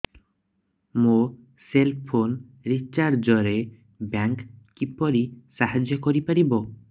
ମୋ cell phone recharge ରେ bank କିପରି ସାହାଯ୍ୟ କରିପାରିବ